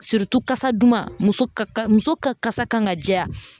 kasa duman, muso ka muso ka kasa kan ka diya.